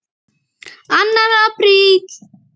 ANNAR APRÍL